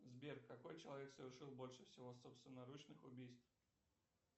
сбер какой человек совершил больше всего собственноручных убийств